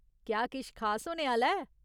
क्या किश खास होने आह्‌ला ऐ ?